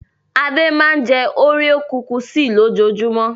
Ade máa ń jẹ́ òréò kukisì lójoojúmọ́.